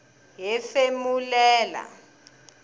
hefemulela